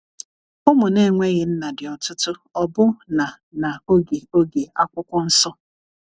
ụmụ na enweghi nna di ọtụtụ ọbụ na na oge oge akwụkwọ nsọ